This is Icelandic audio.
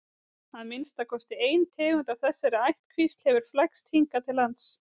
að minnsta kosti ein tegund af þessari ættkvísl hefur flækst hingað til lands